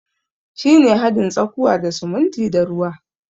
Shi ne hadin tsakuwa da sumuntin da ruwa.